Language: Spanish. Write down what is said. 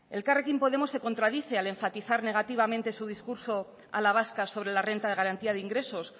elkarrekin podemos se contradice al enfatizar negativamente su discurso a la vasca sobre la renta de garantía de ingresos